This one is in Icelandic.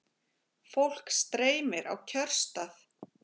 Fólk streymir á kjörstað